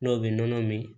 N'o bɛ nɔnɔ min